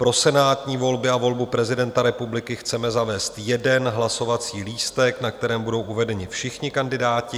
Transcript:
Pro senátní volby a volbu prezidenta republiky chceme zavést jeden hlasovací lístek, na kterém budou uvedeni všichni kandidáti.